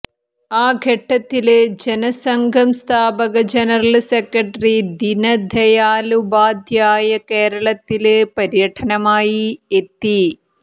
ആ ഘട്ടത്തില് ജനസംഘം സ്ഥാപക general secretary Deendayal Upadhyaya കേരളത്തില് പര്യടനമായി എത്തി